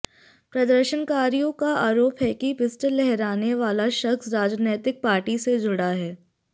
प्रदर्शनकारियों का आरोप है कि पिस्टल लहराने वाला शख्स राजनीतिक पार्टी से जुड़ा है